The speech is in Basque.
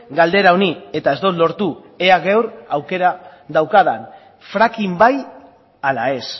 galdera honi eta ez dut lortu ea gaur aukera daukadan fracking bai ala ez